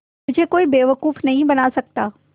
मुझे कोई बेवकूफ़ नहीं बना सकता